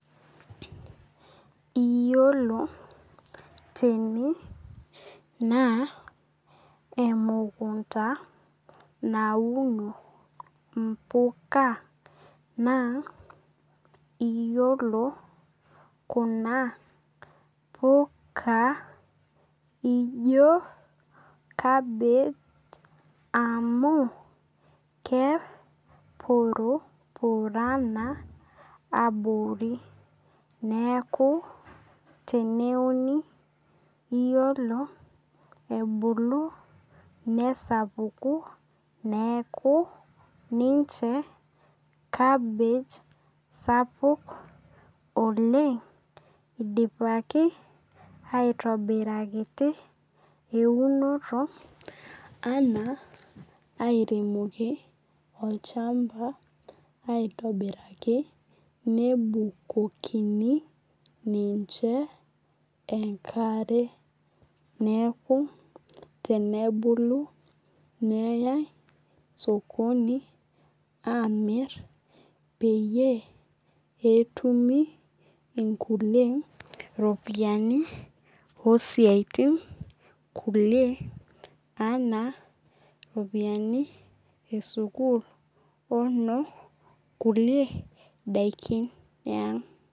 Iyiolo tene naa emukunta nauno impuka naa iyiolo kuna puka ijo cabbage amu kepurupurana abori. Neeku teneuni iyiolo ebulu nesapuku neeku ninche cabbage sapuk oleng' idipaki aitobirakiti eunoti anaa airemoki olchamba aitobiraki nebukokini ninche enkare neeku tenebulu neyai sokoni peyie etumi inkulie ropiani oo siatin kulie anaa ropiani ee sukul ono kulie dakin ee ang'.